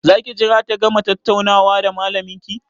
Za ki jira ta gama tattaunawa da malamin ki?